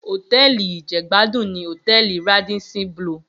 Hótèlí ijègbádún ni hótèlí Ràdísín blúù